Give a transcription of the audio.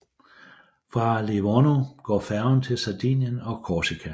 Fra Livorno går færger til Sardinien og Korsika